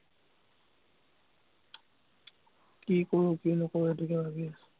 কি কৰোঁ, কি নকৰোঁ, সেইটোকে ভাৱি আছো।